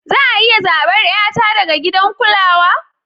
Za a iya zabar 'yata daga gidan kulawa?